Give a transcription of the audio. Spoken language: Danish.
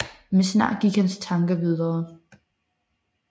Men snart gik hans tanker videre